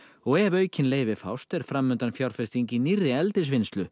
ef aukin leyfi fást er framundan fjárfesting í nýrri